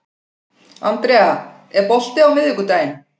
Andrea, er bolti á miðvikudaginn?